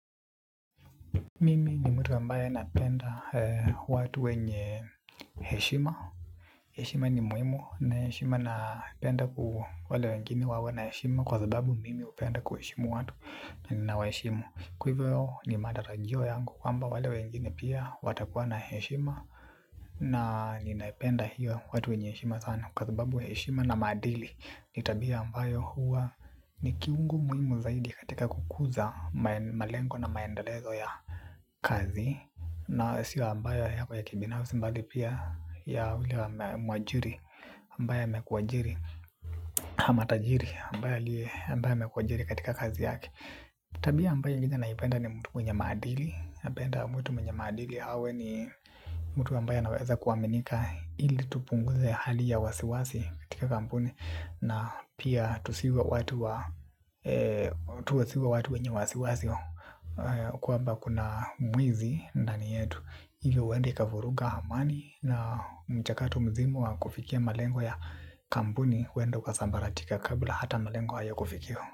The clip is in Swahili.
Mimi ni mtu ambaye napenda watu wenye heshima. Heshima ni muhimu na heshima napenda ku wale wengine wawe na heshima kwa sababu mimi upenda ku heshimu watu na nina wa heshimu. Kwa hivo ni maratajio yangu kwamba wale wengine pia watakuwa na heshima. Na ninaipenda hiyo watu wenye heshima sana kwa sababu heshima na maadili nitabia ambayo huwa ni kiungu muhimu zaidi katika kukuza malengo na maendelezo ya kazi. Na siyo ambayo yako ya kibinafsi mbali pia ya ule wa mwajiri ambaye amekuajiri ama tajiri ambaye aliye ambaye amekuajiri katika kazi yake. Tabia ambayo ingine naipenda ni mtu mwenye maadili. Penda mtu mwenye maadili awe ni mtu ambaye a naweza kuaminika. Ili tupunguze hali ya wasiwasi katika kampuni na pia tusiwe watu wa tuwe si watu wenye wasiwasi. Kwa mba kuna mwizi nda ni yetu ili uenda ikavuruga amani. Na mchakato mzima wa kufikia malengo ya kampuni uenda ukasambalatika kabla hata malengo haya kufikiwa.